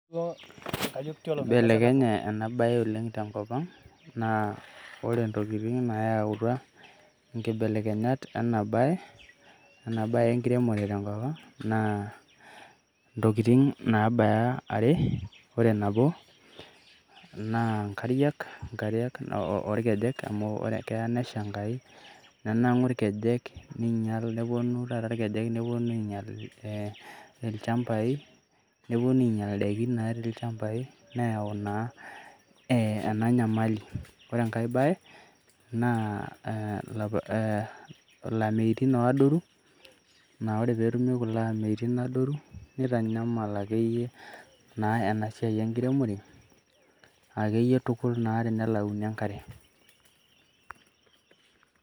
Eibelekenye ena bae oleng tenkop ang naa ore ntokitin nayautua nkibelekenyat ena bae enkiremore tenkop ang naa ntokitin naabaya are. Ore nabo naa nkariak, nkariak oo ilkejek amu keya nesha enkai nenang`un ilkejek ninyial, neponu taata ilchambai, neponu ainyial indaikin natii ilchambai neyau naa ena nyamali. Ore enkae baye naa ilameyutin adoru ,naa ore pee etumi ilameyutin adoru nitanyamal akeyie naa ena siai enkiremore akeyie tukul naa tenelauni enkare.